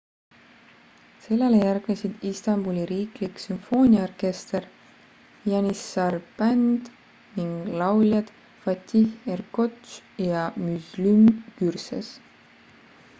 sellele järgnesid istanbuli riiklik sümfooniaorkester janissar band ning lauljad fatih erkoç ja müslüm gürses